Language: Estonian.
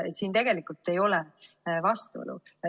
Siin tegelikult ei ole vastuolu.